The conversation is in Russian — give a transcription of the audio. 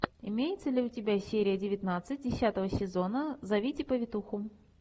имеется ли у тебя серия девятнадцать десятого сезона зовите повитуху